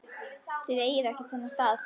Þið eigið ekkert þennan stað.